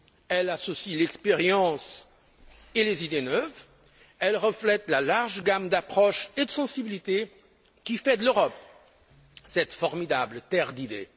Elle associe l'expérience et les idées neuves, elle reflète la large gamme d'approches et de sensibilités qui fait de l'Europe cette formidable terre d'idées.